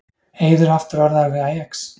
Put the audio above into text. Eiður aftur orðaður við Ajax